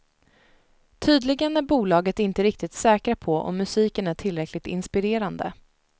Tydligen är bolaget inte riktigt säkra på om musiken är tillräckligt inspirerande.